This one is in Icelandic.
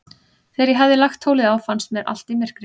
Þegar ég hafði lagt tólið á, fannst mér allt í myrkri.